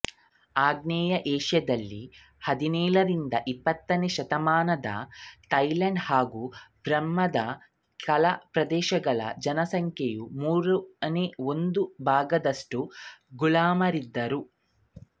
ಆಗ್ನೇಯ ಏಷ್ಯಾದಲ್ಲಿ ಹದಿನೇಳರಿಂದ ಇಪ್ಪತ್ತನೆ ಶತಮಾನದಲ್ಲಿ ಥೈಲಾಂಡ್ ಹಾಗು ಬರ್ಮಾದ ಕೆಲ ಪ್ರದೇಶಗಳಲ್ಲಿ ಜನಸಂಖ್ಯೆಯ ಮೂರನೇ ಒಂದು ಭಾಗದಷ್ಟು ಗುಲಾಮರಿದ್ದರು